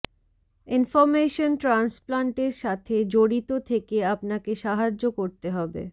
information ট্রান্সপ্লান্টের সাথে জড়িত থেকে আপনাকে সাহায্য করতে হবে